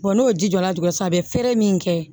n'o ji jɔra dingɛ san a bɛ feere min kɛ